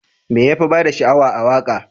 Me yafi bada sha'awa a waka?